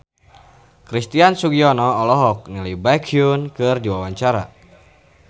Christian Sugiono olohok ningali Baekhyun keur diwawancara